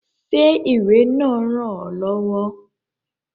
Ṣé ìwé náà ràn ọ lọ́wọ́?